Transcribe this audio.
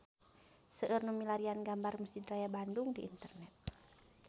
Seueur nu milarian gambar Mesjid Raya Bandung di internet